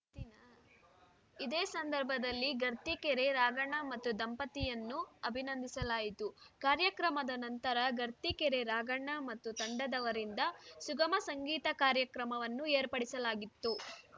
ಇದೇ ಸಂದರ್ಭದಲ್ಲಿ ಗರ್ತಿಕೆರೆ ರಾಘಣ್ಣ ಮತ್ತು ದಂಪತಿಯನ್ನು ಅಭಿನಂದಿಸಲಾಯಿತು ಕಾರ್ಯಕ್ರಮದ ನಂತರ ಗರ್ತಿಕೆರೆ ರಾಘಣ್ಣ ಮತ್ತು ತಂಡದವರಿಂದ ಸುಗಮ ಸಂಗೀತ ಕಾರ್ಯಕ್ರಮವನ್ನು ಏರ್ಪಡಿಸಲಾಗಿತ್ತು